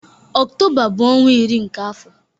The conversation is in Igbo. Ọktoba bu ọnwa nke iri n'afo.